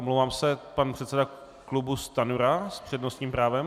Omlouvám se, pan předseda klubu Stanjura s přednostním právem?